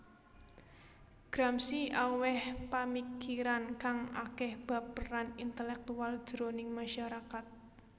Gramsci awèh pamikiran kang akèh bab peran intelèktual jroning masyarakat